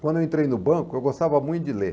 Quando eu entrei no banco, eu gostava muito de ler.